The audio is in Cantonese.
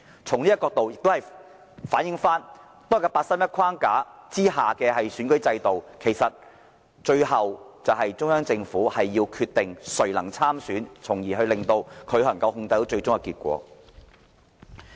這亦反映出八三一框架下的選舉制度，其實就是要讓中央政府決定誰能參選，從而得以控制最終的選舉結果。